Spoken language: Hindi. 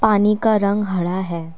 पानी का रंग हरा है।